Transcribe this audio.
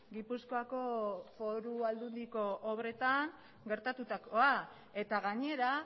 gipuzkoako foru aldundiko obretan gertatutakoa eta gainera